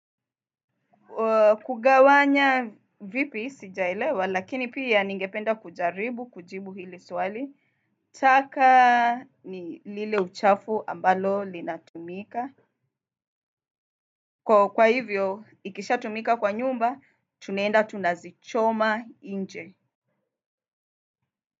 Kugawanya vipi? Sijaelewa, lakini pia ningependa kujaribu, kujibu hili swal. Taka ni lile uchafu ambalo linatumika. Kwa hivyo, ikisha tumika kwa nyumba, tuneenda tunazichoma nje.